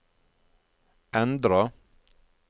endra